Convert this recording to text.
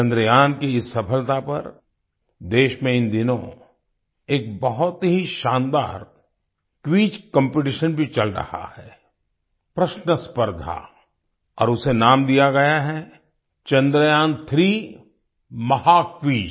चंद्रयान की इस सफलता पर देश में इन दिनों एक बहुत ही शानदार क्विज कॉम्पिटिशन भी चल रहा है प्रश्नस्पर्धा और उसे नाम दिया गया है चंद्रयान3 महाक्विज